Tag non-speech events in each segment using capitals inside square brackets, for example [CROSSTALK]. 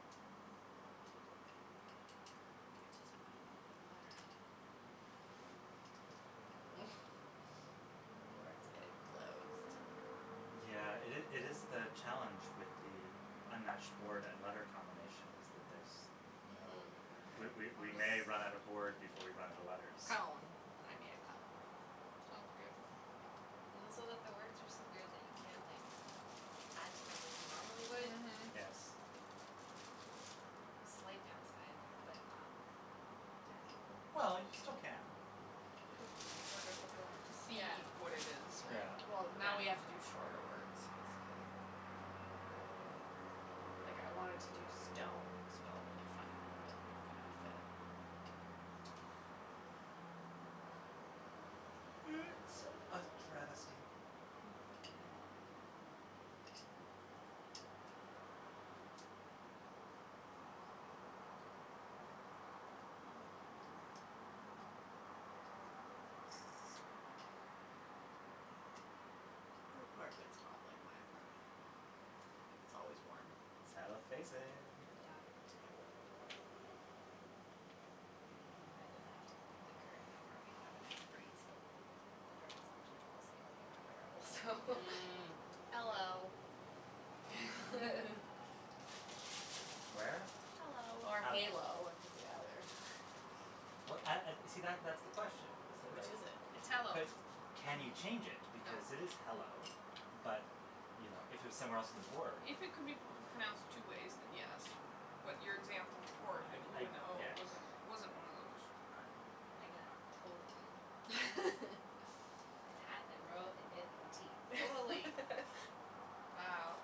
Hmm. I just want an open letter. [NOISE] Or it's getting close to Mhm. Yeah, it is it is the challenge with the unmatched board and letter combination is that there's no Mhm. We Okay, we we I'll may run out of just board before we run out of letters. Column. I made a column. Sounds good. And also that the words are so weird that you can't, like, add to them like you normally would. Mhm. Yes. Slight downside but not terrible. Well, you still can. Just more difficult to see Yeah. what it is, yeah. Yeah. Well, now we have to do Yeah. shorter words, basically. Like, I wanted to do stone spelled really funny, but it couldn't all fit. It's a travesty. [NOISE] [NOISE] Your apartment's hot like my apartment. It's always warm. South facing. Yeah. Yeah. If I didn't have to put the curtain over, we'd have a nice breeze, but the direct sunshine is even more unbearable, so Mm. Mm. Hello. [LAUGHS] [LAUGHS] Where? Hello. Or Hello. halo, it could be either. Well, and and see, that that's the question is that, Which like is it? It's hello. But can you change it No. because it is hello, but, you know, if it was somewhere else on the board If it could be p- pronounced two ways, then yes. But your example before, the I g- ooh I and the oh, guess. wasn't wasn't one of those. I I got totally. [LAUGHS] And at and row and it and tee. [INAUDIBLE] [LAUGHS] Wow,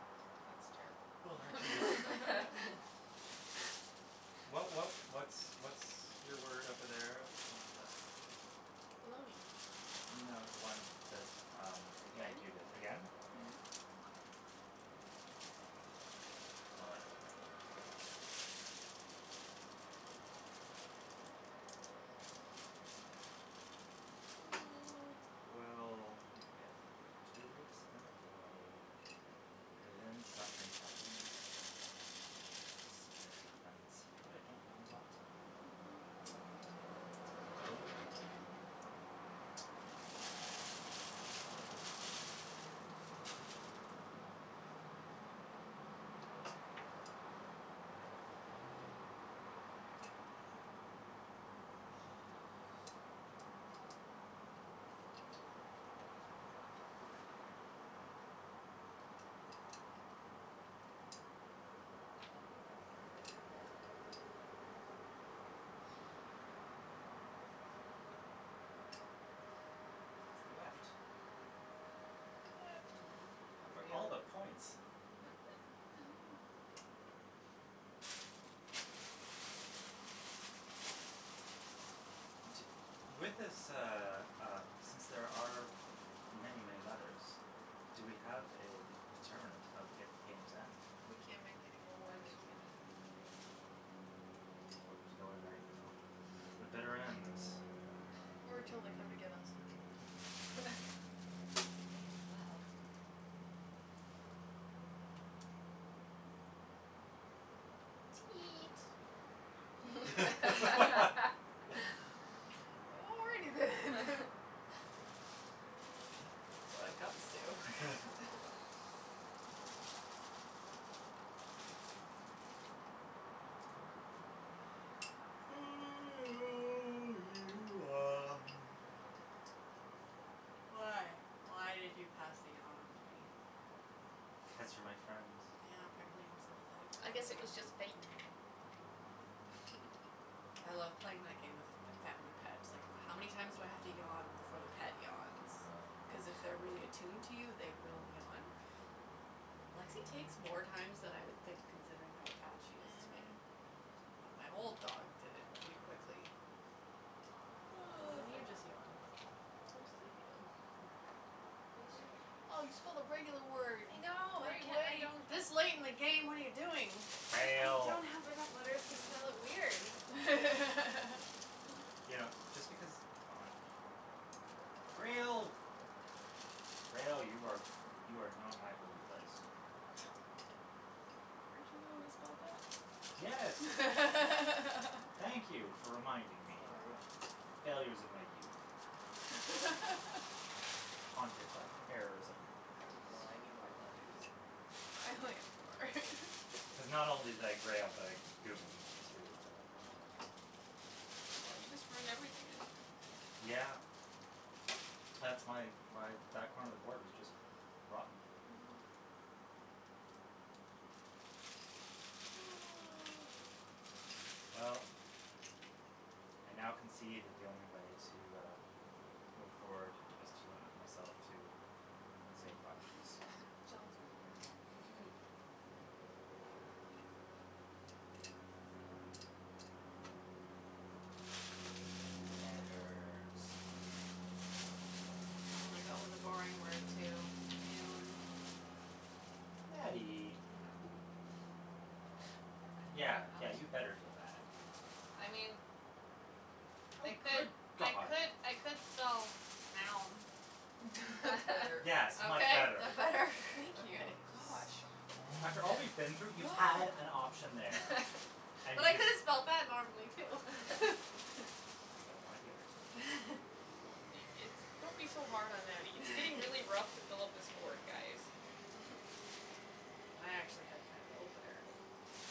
that's terrible. [LAUGHS] [NOISE] [LAUGHS] What what what's what's your word over there that Baloney. No, the one that, um, Meg, you did, Again? again? Yeah. Mhm. Okay. Well, that doesn't help me. [NOISE] Well, if we do it that way, then something happens. Something happens, but I don't know what. Mhm. It's a problem. But I don't know. It's the weft. Weft. Mm. Oh, For for all of real? the points. Mhm. Mhm. [LAUGHS] T- with this, uh, um, since there are many, many letters, do we have a d- determinant of g- game's end? We can't make anymore When words. we can't make anymore words. We're just going right until the bitter ends? [LAUGHS] Or till they come to get us. [LAUGHS] May as well. Teat [LAUGHS] [LAUGHS] [LAUGHS] [LAUGHS] Already then. [LAUGHS] When it comes to [LAUGHS] [LAUGHS] [NOISE] [NOISE] Why? Why did you pass the yawn onto me? Cuz you're my friend. Yeah, apparently I'm sympathetic I towards guess it you. was just fake. Mm. Mm. [LAUGHS] I love playing my game with a f- family pet. Like, how many times do I have to yawn before the pet yawns? Cuz Oh. if they're really attuned to you, they will yawn. Hmm. Lexie takes more times than I would think considering how attached she is to me. Mhm. But Hmm. my old dog did it really quickly. And Oh. This is then the you just normal yawned. I'm way. sleepy, though. Ratio. [LAUGHS] Oh, you spelled a regular word. I know, I can- I [INAUDIBLE] don't have This late in the game? What are you doing? I Fail. don't have enough letters to spell it weird. [LAUGHS] You know, just because, oh like Grail. Grail. You are you are not my holy place. [LAUGHS] Weren't you the one Boat. that spelled that? Yes. Thank [LAUGHS] you for reminding me Sorry. of the failures of my youth. [LAUGHS] Haunted by the errors of my Oh, past. I need more letters. I only have four. [LAUGHS] Cuz not only did I grail, but I gooned, too. Oh, you just ruined everything, didn't you? Yeah. That's my why that corner of the board is just rotten. Mhm. [NOISE] Well, I now concede that the only way to, uh, move forward is to limit myself to safe options. Sounds good. [LAUGHS] [LAUGHS] Letters. I'm gonna go with a boring word, too. [INAUDIBLE] I Nattie. know. We're running out Yeah, of yeah, options. you better feel bad. I mean, Oh, I could good I god. could I could spell now. [LAUGHS] That's better. Yes, much Okay? better. That better? Thank you. Okay. [LAUGHS] Gosh. After all we've been [LAUGHS] through, you had an [NOISE] option there and But you I could just have spelled that [LAUGHS] normally, too. I don't wanna hear [LAUGHS] it. [LAUGHS] Oh, it it's [LAUGHS] don't be so hard on Nattie. It's getting really rough to fill up this board, guys. [LAUGHS] [NOISE] I actually had kind of the opener there, I think.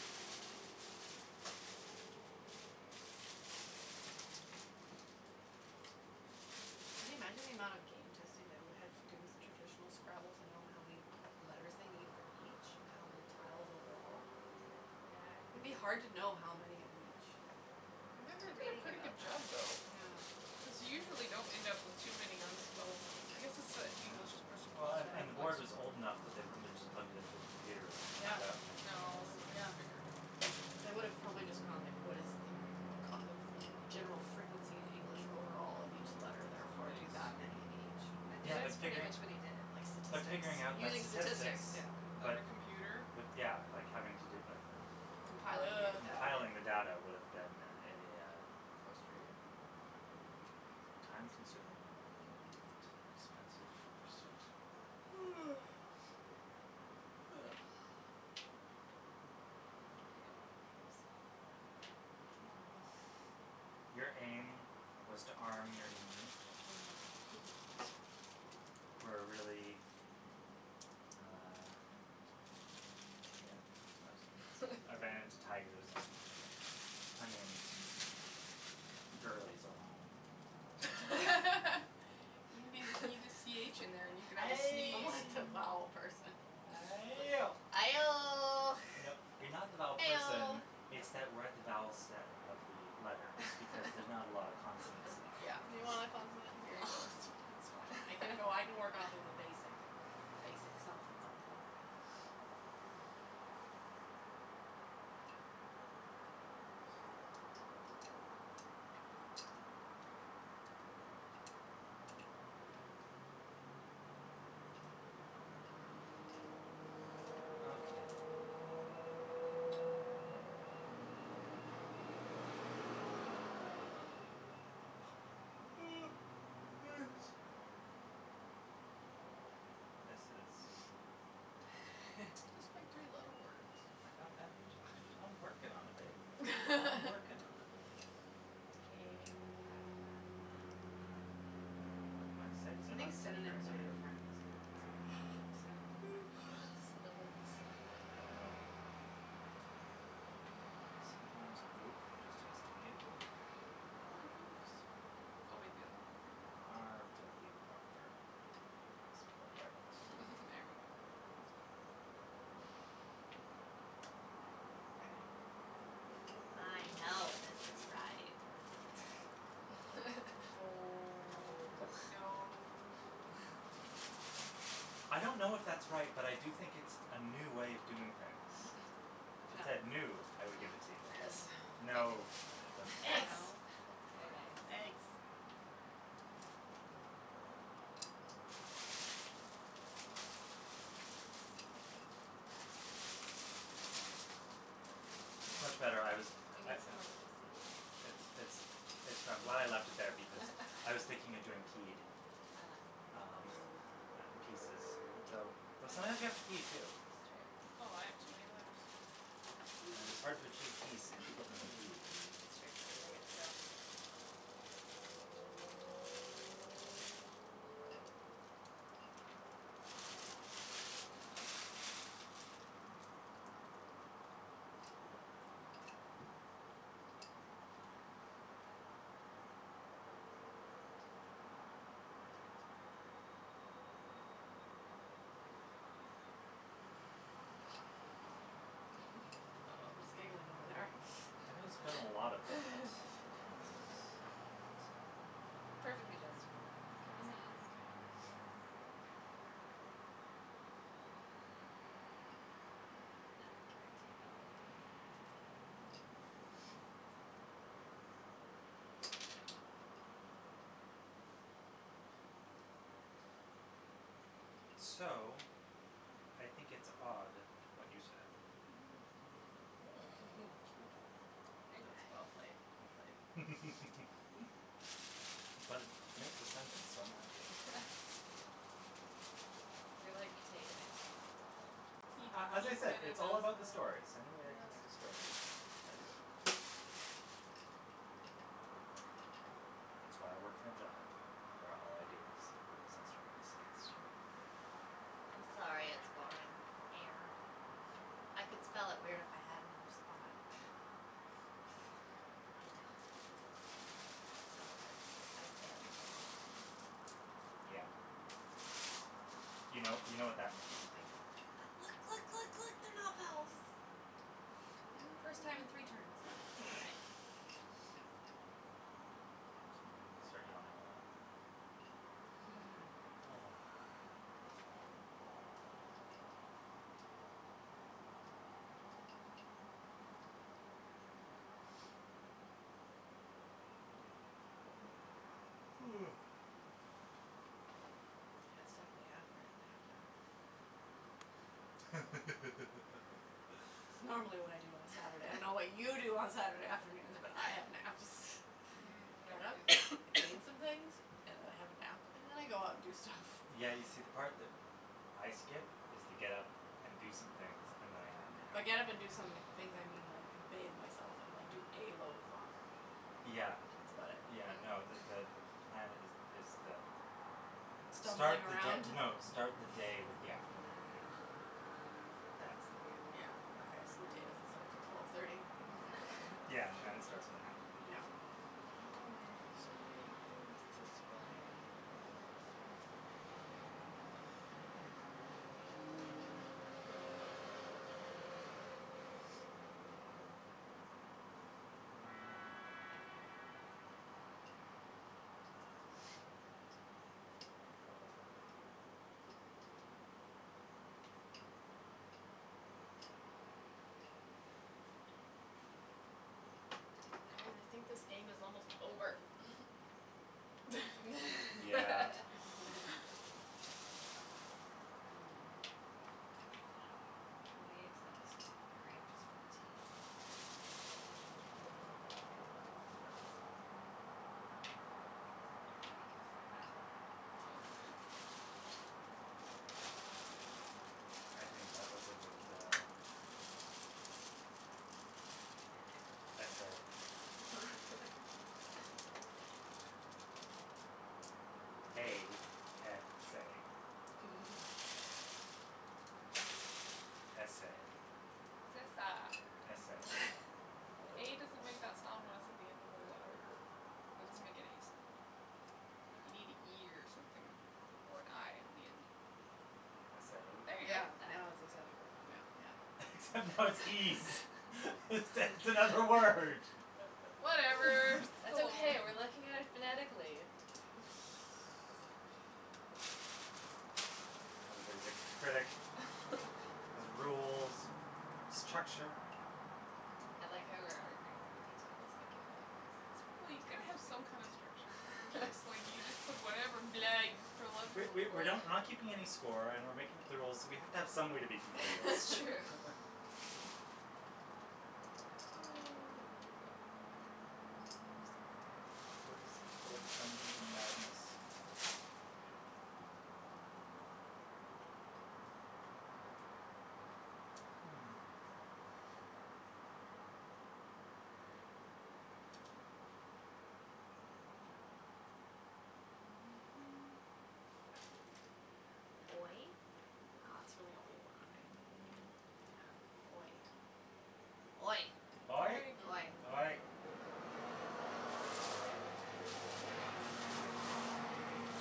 Can you imagine the amount of game testing they would have to do with traditional Scrabble to know how many letters they need for each and how many tiles overall? Yeah, I It'd think be hard to know how many of each. I remember They did a reading pretty good about job, that. though, Yeah. because you usually don't end up with too many unspellable I guess it's that Yeah, English well, and and the board was old enough [INAUDIBLE] that they wouldn't have just plugged it into a computer and Yeah. found out in a couple of No, minutes. they would have Yeah. figured it out. They would have probably just gone, like, what is the kind of general frequency in English overall of each Mm, letter, therefore, do somebody's that many in I each. think Yeah, but that's pretty figuring much what he Like did. But statistics. figuring out that Using statistics, statistics yeah. Without but a computer? With, yeah, like, having to do, like Compiling Ugh. the Compiling the data. data would have been a Frustrating. time consuming and Mhm. expensive pursuit. [NOISE] [NOISE] I know [INAUDIBLE] spelled normally, but aim. Your aim was to arm your knee Mhm. for a really, uh, yeah, no, I was I ran into [LAUGHS] tigers and onions and girlies, oh my. [LAUGHS] You n- [LAUGHS] you need a c h in there and you can have a Ay! I'm sneeze. like the [LAUGHS] vowel person. Ayo! Aioh. [LAUGHS] You know, you're not the vowel person, Eoh. it's that we're at the vowel set of the letters because there's not a lot of consonants [LAUGHS] left Yeah. You because [LAUGHS] want a consonant? Here you go. [LAUGHS] That's fine. I can go, I can work off a basic [LAUGHS] basic something something. Okay. [NOISE] This is Just [LAUGHS] make three letter words. I I I'm ju- I"m working on it, babe. I'm working on it. [LAUGHS] K. My my sights are I not think set very synonyms are high. your friends. Synonyms are my friends. [NOISE] Synonyms. You know, sometimes a goof just has to be a goof. More goofs. Oh [INAUDIBLE] R to be proper. I'll spell it right this time. There we [LAUGHS] go. That's better. Okay. I know this is right. [LAUGHS] No. That No. No. [LAUGHS] I don't know if that's right, but I do think it's a new way of doing things. [LAUGHS] If it said new, I would give Mm. it to you. Yes. No, it doesn't fly Eggs. No? [LAUGHS] But Very uh nice. [INAUDIBLE] Eggs. Ah, piece. Yeah, We it's need much better. I was we I need I some more pieces than It's this. it's it's I'm glad I left it there because I was thinking of doing [LAUGHS] peed, Ah. um, and pieces. Though though sometimes you That have to pee too. It's true. Oh, I have too many letters. It is hard to achieve peace if people haven't peed. [NOISE] [LAUGHS] [INAUDIBLE] [LAUGHS] Oh, there's giggling over there. There has been a lot of that and [LAUGHS] [LAUGHS] it, uh Perfectly justified in this case. Mhm. It's kinda ridiculous. Yeah. Not guaranteed I'll be able to play it, but So, I think it's odd what you said. Mhm. [LAUGHS] Cute. Mm. Very nice. That's well played, well played. [LAUGHS] But it makes a sentence, so I'm happy. [LAUGHS] You're like taking it to another level, the He he A a as I said, kind of it's sentences. all does that, about the stories. Any way I can make a yes. story, I do it. It's why I work in a job where all I do is focus on stories. That's true. I'm sorry it's boring. Air. I could spell [LAUGHS] it weird if I had another spot. But I don't, so I I've failed you all. Yeah. You know, you know what that means. I know. But look, look, look, look, they're not vowels. First time in three turns. Mm. Nice. Which means I'm gonna start yawning a lot. [LAUGHS] [NOISE] [NOISE] Yeah, it's definitely afternoon nap time. It's [LAUGHS] normally what I do on a Saturday. I don't know what you do [LAUGHS] on Saturday afternoons, but have naps. [LAUGHS] Mm, I get never up, Mm. do that. I clean some things [NOISE] and I have a nap and then I go out and do stuff. Yeah, you Nice. see, the part that I skip is the get up and do some things and then I have a nap. By get up and do some things, I mean, like, bathe myself and like do a load of laundry, Yeah. that's about it. Yeah, no, the Hmm. the the plan is is the start Stumbling the around? d- no, start the day with the afternoon nap. That's the way to do Yeah, it. okay, so the day doesn't start until twelve thirty? All Yeah, and then it right. [LAUGHS] starts with a nap. [LAUGHS] Yeah. Mm. So many things to spell and none of them make sense. Mm. [NOISE] [NOISE] [NOISE] [NOISE] Guys, I think this game is almost over. [NOISE] [LAUGHS] Yeah. [LAUGHS] [LAUGHS] [LAUGHS] Will we accept [INAUDIBLE] with a t? Mhm. Mhm. Okay. Yeah. Cuz I'm [INAUDIBLE] Sounds good. I think that was a good, uh, essay. [LAUGHS] A s a. S a. It's esa. S a. [LAUGHS] A doesn't make that sound when it's at the end of a letter. That doesn't make any sound. You need an e or something or an i on the end. S Yeah. There you a? go. Yeah, That. now it's acceptable. Yeah. Except now it's ees. It's it's another word. Whatever, Whatever, [LAUGHS] [LAUGHS] it's That's still still okay, we're a word. looking at it phonetically. [NOISE] Everybody's a critic. Has [LAUGHS] rules and structure and I like how we're arguing over details in a game like this. It's Well, you pretty gotta have some kind of structure, or it's fantastic. just like you just put [LAUGHS] whatever [LAUGHS] blah, you just throw [NOISE] letters We on the we we're board. not we're not keeping any score and we're making up the rules, so we have to have some way to be competitive. It's true. [LAUGHS] [LAUGHS] [NOISE] What was the word that's pull [INAUDIBLE] madness? Hmm. [NOISE] [NOISE] Oy? No, that's really only a y. Yeah. Oy. Oy. Oy. Oy. Oy. Mm. Oy.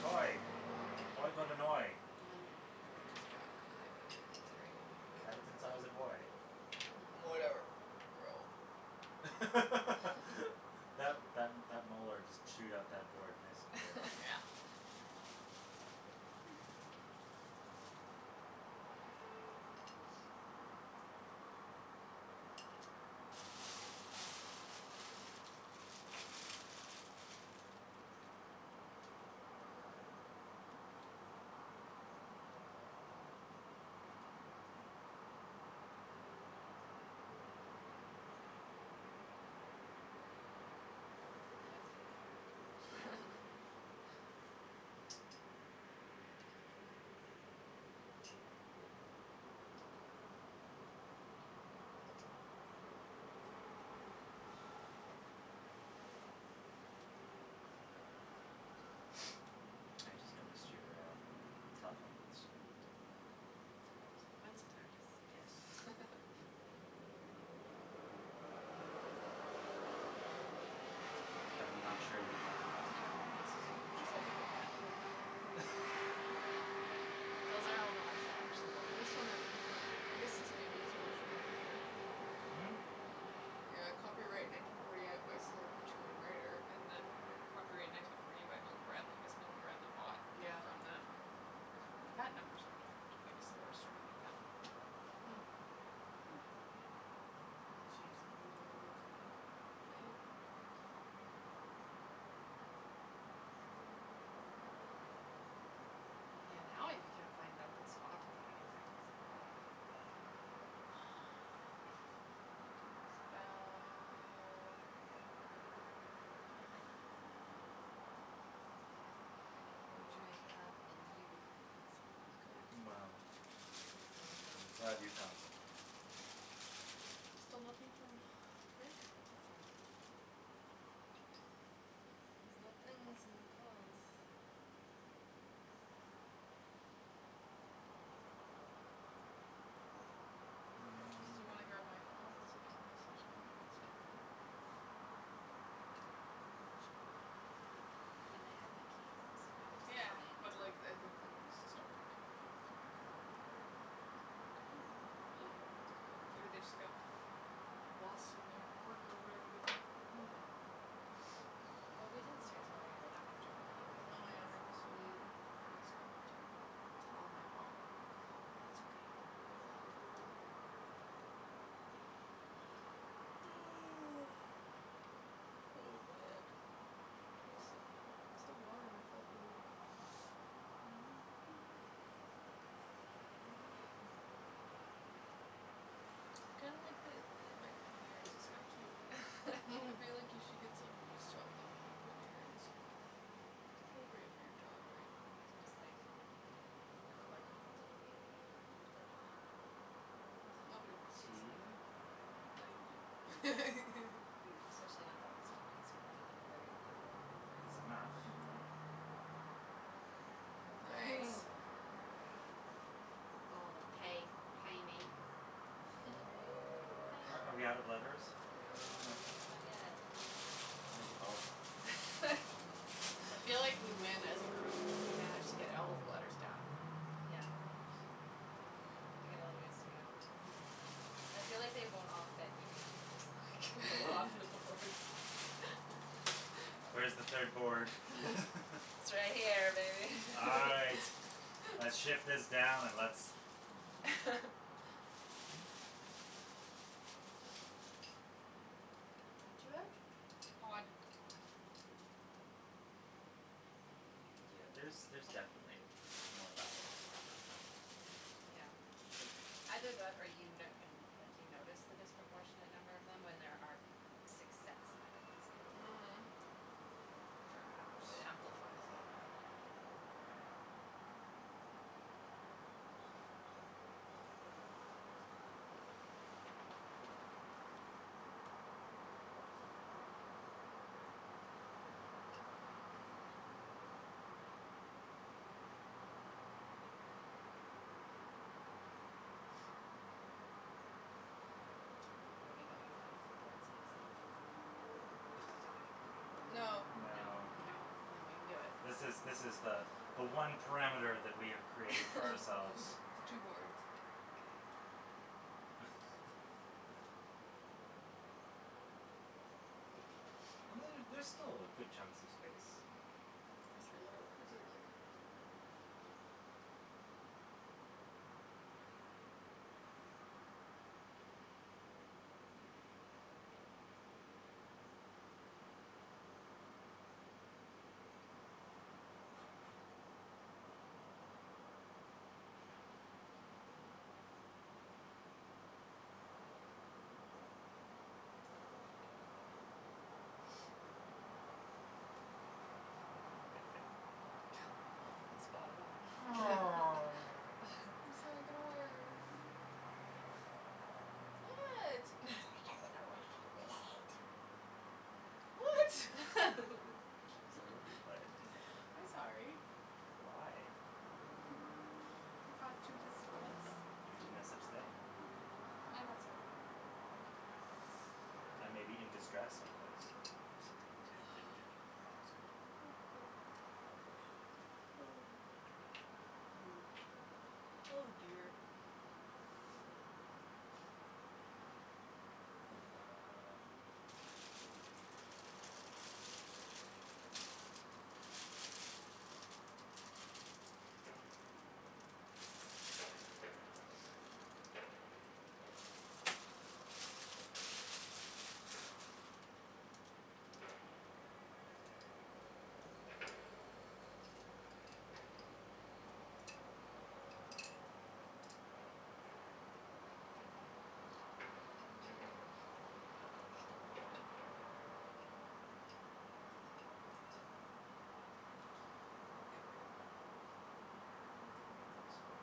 Oy. Oy got an oy. Um then I just got an i back. Great. Had it since I was a boy. [LAUGHS] Whatever. Row. [LAUGHS] That [LAUGHS] that that molar just chewed up that board nice and good. Yeah. [LAUGHS] Hmm. [NOISE] Now it's Yeah. getting hard. [LAUGHS] Hmm. [NOISE] I just noticed your, uh, telephone booths. Back. They're awesome. One's a Yes. tardis. [LAUGHS] But I'm not sure you have enough camera lenses on that These shelf. have different patent numbers on there. [LAUGHS] Those are Oh. all the ones that actually work. This one has a different I guess this maybe is the original maker. Hmm? Yeah, copyright nineteen forty eight by Selchow and Righter and then copyright nineteen forty eight by Milton Bradley. I guess Milton Bradley bought it Yeah. from them. But the patent numbers are different. I guess they registered a new patent. Hmm. Maybe they changed the rules a little or something. Maybe. Yeah, now you can't find an open spot to put anything, it's a problem. Mhm. You can spell, uh I don't know Okay. I'm what you gonna make could spell. hug and you. Sounds good. Well, At least one of them I'm is glad you wrong. found something. Still nothing from Rick? No. There's no blings and no calls. Just do you want to grab my phone Mm. and see if he messaged me? It's right there. I mean, they have my keys. I assume they would just Yeah, come in but and like, I think they want us to stop talking before [INAUDIBLE] Maybe they just got lost in their work or whatever they do. Hmm. Yeah. [NOISE] Well, we didn't start till a little bit after twelve Oh, anyway, yeah, right? maybe, so Mm. maybe it's not enough time [NOISE] yet. It's all my fault. [NOISE] [NOISE] Oh, man [INAUDIBLE] So warm and full of food. [LAUGHS] [NOISE] I kinda like the the microphone earrings. It's kinda cute. I feel like you should get [LAUGHS] [LAUGHS] some and just chop them and make them into earrings. It's appropriate for your job, right? They can just, like, record my whole day. Don't do that. Nobody wants to see Tea. that, No. not even you. Especially not [LAUGHS] the last few days when I've been in a very loud Is room enough. all Mhm. day. Nice. Hmm. Very good. Going with tae, tae me. [LAUGHS] Are are we out of letters? No. No? No. Not yet. Like about [LAUGHS] I feel like [LAUGHS] we win as a group if we manage to get all of the letters down. Yeah. We got a little ways to go. Mhm. I feel like they won't all fit in the end, just like go off the boards. [LAUGHS] [LAUGHS] Where's the third board? [LAUGHS] [LAUGHS] It's right here, baby. All right, [LAUGHS] let's shift [LAUGHS] this down and let's [LAUGHS] What do you have? Odd. Odd. Oh. Yeah, there's there's definitely m- more vowels hidden. Yeah. Either that, or you n- you n- like, you notice the disproportionate number of them when there are six sets of e's in there. Mhm. Perhaps. It amplifies it, yeah. Yeah. [NOISE] Are we going off the board spaces? Do we [LAUGHS] agree? No. No. No? No. No, I Okay. don't think we can do it. This is this is the the one parameter that we have created for ourselves. [LAUGHS] The two boards. [LAUGHS] Okay, well, that wouldn't work. [LAUGHS] Um And then there's still good chunks of space. For three letter For words. three letter words. [NOISE] [LAUGHS] Well, he spotted one. [LAUGHS] Oh. I'm sorry, I got a [LAUGHS] word. [LAUGHS] What? [LAUGHS] [NOISE] What? [LAUGHS] It's because of a word you [LAUGHS] played. [LAUGHS] I'm sorry. Why? I caused you distress. You did no such thing. Okay, I'm not sorry. Thank you. I may be in distress because of something you did, but you didn't cause it. Okay. Okay. Rude. [NOISE] Oh, dear. Duh. [INAUDIBLE] Okay. How to make this work.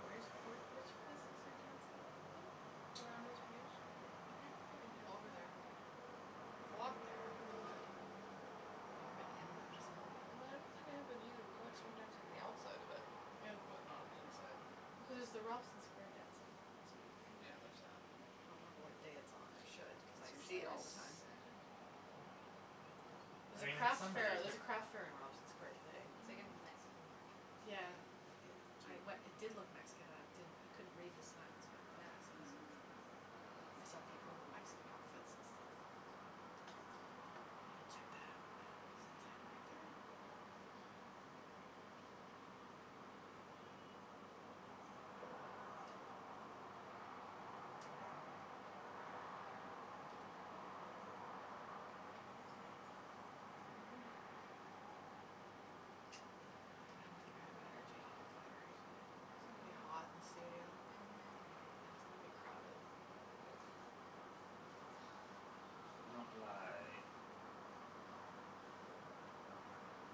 Where's where's where's the places you're dancing at today? Around [INAUDIBLE] In Over Yaletown. there. I've walked there. But Mm. I've never been in that facility. I don't think I have been, either. We went swing dancing on the outside of it, Yeah. but not on the inside. Here's the Robson square dancing once a week. Yeah, there's that. I don't know what day it's on, I should, cuz It's I see usually it a S- all the time. Saturday. Hmm. Yeah. I There's a mean, in crafts some fair, way it's there's a crafts fair differen- in Robson square yeah. today. It's like a Mhm. Mexican market Yeah. today. Yeah. I Cute. we- it did look Mexican I didn't I couldn't read the signs, but it Yeah, makes no, sense. it's Mhm. like a I saw people Mexican in a Mexican market. outfits and stuff. Cute. Maybe I'll check that out since I'm right there. [NOISE] [NOISE] I don't think I have energy to do pottery today. It'll be Mm. hot and [INAUDIBLE] Mhm. And [INAUDIBLE] crowded [NOISE] You don't lie about ivy.